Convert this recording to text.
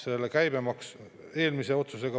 Meile on põhjendatud riigikaitseliste kulutustega.